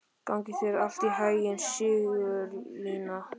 Gangi þér allt í haginn, Sigurlína.